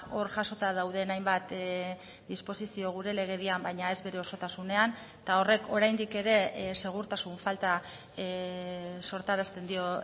hor jasota dauden hainbat disposizio gure legedian baina ez bere osotasunean eta horrek oraindik ere segurtasun falta sortarazten dio